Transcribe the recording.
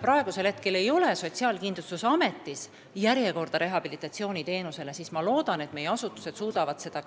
Praegu ei ole Sotsiaalkindlustusametis rehabilitatsiooniteenuste järjekorda ja ma loodan, et meie asutused suudavad seda